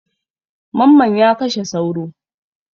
Mamman ya kashe sauro.